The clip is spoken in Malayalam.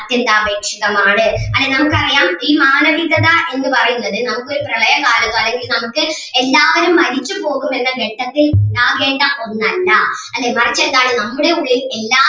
അത്യന്താപേക്ഷിതമാണ് അല്ല നമുക്ക് അറിയാം ഈ മാനവികത എന്ന് പറയുന്നത് നമുക്ക് ഒരു പ്രളയ കാലത്തോ അല്ലെങ്കിൽ നമുക്ക് എല്ലാവരും മരിച്ചു പോകും എന്ന ഘട്ടത്തിൽ ഉണ്ടാകേണ്ട ഒന്നല്ല അല്ലേ മറിച്ച് എന്താണ് നമ്മുടെ ഉള്ളിൽ എല്ലാ